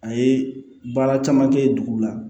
A ye baara caman kɛ dugu la